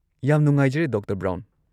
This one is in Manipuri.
ꯌꯥꯝ ꯅꯨꯉꯥꯏꯖꯔꯦ, ꯗꯣꯛꯇꯔ ꯕ꯭ꯔꯥꯎꯟ꯫